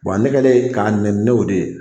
Wa ne kɛlen k'a neni ne y'o de ye